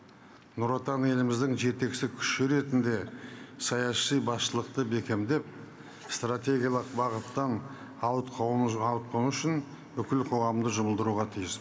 нұр отан еліміздің жетекші күші ретінде саяси басшылықты бекемдеп стратегиялық бағыттан ауытқыму үшін бүкіл қоғамды жұмылдыруға тиіс